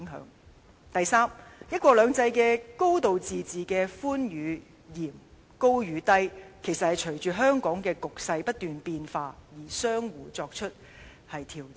此外，他表示"一國兩制"、"高度自治"的寬與嚴，高與低，其實是隨着香港局勢不斷變化而相互作出調整。